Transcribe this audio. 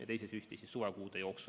Ja teise süsti saab suvekuude jooksul.